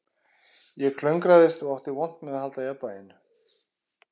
Ég klöngraðist og átti vont með að halda jafnvæginu